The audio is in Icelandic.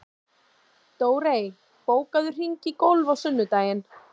Dórey, bókaðu hring í golf á sunnudaginn.